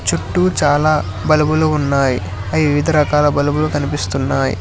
చుట్టూ చాలా బుల్బులు ఉన్నాయి అవి వివిధ రకాల బుల్బులు కనిపిస్తున్నాయి.